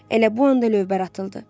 Elə bu anda lövbər atıldı.